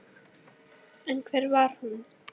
En hver var hún?